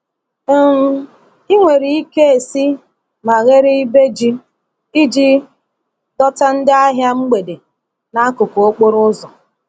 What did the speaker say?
um Ị nwere ike esi ma ghere ibe ji iji dọta ndị ahịa mgbede n’akụkụ okporo ụzọ.